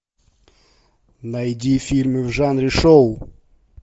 найди фильмы в жанре шоу